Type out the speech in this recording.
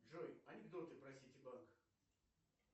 джой анекдоты про ситибанк